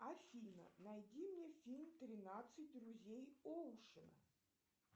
афина найди мне фильм тринадцать друзей оушена